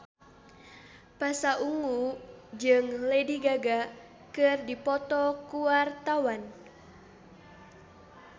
Pasha Ungu jeung Lady Gaga keur dipoto ku wartawan